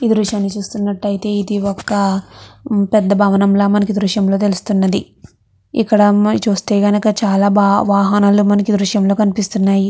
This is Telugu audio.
ఈ దృశ్యాన్ని చూస్తున్నట్టయితే ఇది ఒక పెద్ద భవనంలా మనకు ఈ దృశ్యంలో తెలుస్తున్నది. ఇక్కడ ఒక అమ్మాయి చూస్తే గనుక చాలా బా వాహనాలు ఈ దృశ్యలో కనిపిస్తున్నాయి.